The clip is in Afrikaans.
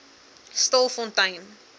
stilfontein